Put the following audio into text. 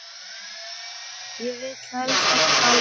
Ég vil helst ekki tala um það.